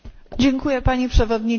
Pani Przewodnicząca!